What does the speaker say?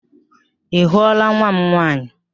Ị hụla nwa m nwaanyị?